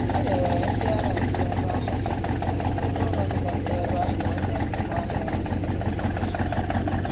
Edewere ndị agha nso ebe ahu, ndị bi n’ụlọ digasi ebe ahu wee neelepu anya n’ npio olu ha.